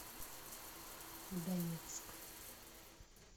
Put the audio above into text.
донецк